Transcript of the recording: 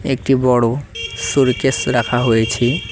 একটি বড়ো সুরকেস রাখা হয়েছে।